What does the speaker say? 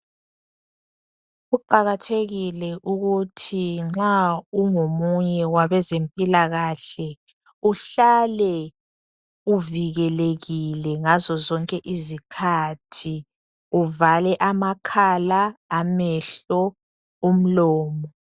Kuqakathekile ukuthi nxa ungomunye wabezempilakahle uhlale uvikelekile ngazo zonke izikhathi, uvale amakhala, amehlo, umlomo.